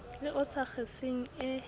le o sa kgeseng e